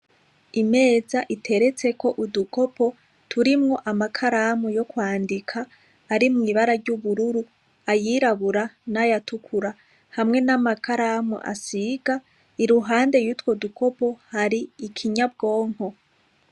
Imeza iteretseko udukopo turimwo amakaramu yo kwandika , arimw’ibara ry’ubururu, ayirabura nayatukura, n’amakaramu asiga, iruhande yutwo dukopo hari ikinyabwonko.